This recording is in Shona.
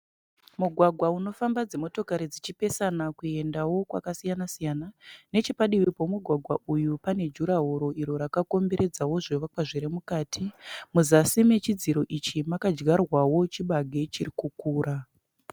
Mugwagwa unofamba dzimotokari dzichipesana kuenda kwakasiyana siyana . Nechekudivi kwemugwagwa uyu pane jurahoro iro rakakomberedzawo zvivakwa zvirimukati. Muzasi mechidziro ichi makadyarwawo chibage chirikukura.